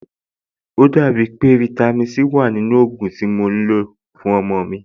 Ò dàbí pé fáítámì Sí wà nínú ògùn tí mo fún ọmọ-ọ̀n mi